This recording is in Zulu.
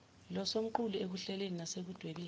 losomqulu ekuhleleni nasekudwebeni